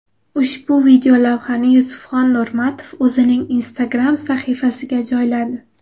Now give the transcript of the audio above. Ushbu videolavhani Yusufxon Nurmatov o‘zining Instagram sahifasiga joyladi.